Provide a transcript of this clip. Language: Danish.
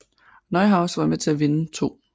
Neuhaus var med til at vinde 2